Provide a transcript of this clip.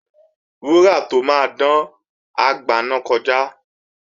Wúrà tó máa dán, á gbaná kọjá